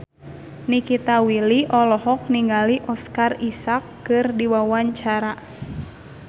Nikita Willy olohok ningali Oscar Isaac keur diwawancara